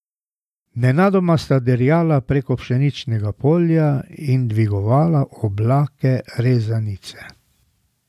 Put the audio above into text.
Nenadoma sta dirjala prek pšeničnega polja in dvigovala oblake rezanice.